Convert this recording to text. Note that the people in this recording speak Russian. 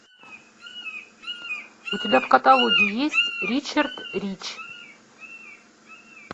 у тебя в каталоге есть ричард рич